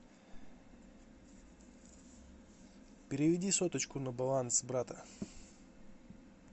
переведи соточку на баланс брата